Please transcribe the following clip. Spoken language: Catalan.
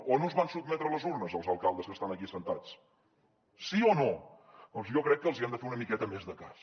o no es van sotmetre a les urnes els alcaldes que estan aquí asseguts sí o no doncs jo crec que els hi hem de fer una miqueta més de cas